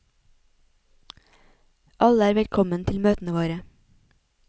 Alle er velkommen til møtene våre.